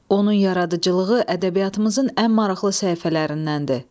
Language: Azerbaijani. Onun yaradıcılığı ədəbiyyatımızın ən maraqlı səhifələrindəndir.